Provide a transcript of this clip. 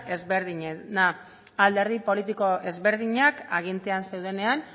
ezberdinena alderdi politiko ezberdinak agintean zeudenean